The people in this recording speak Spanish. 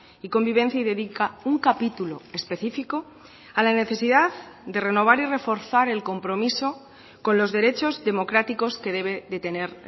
y convivencia y dedica un capítulo específico a la necesidad de renovar y reforzar el compromiso con los derechos democráticos que debe de tener